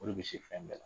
O de bɛ se fɛn bɛɛ la